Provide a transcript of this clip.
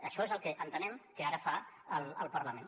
això és el que entenem que ara fa el parlament